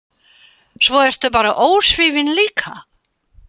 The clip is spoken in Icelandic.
Svo ertu bara ósvífin líka.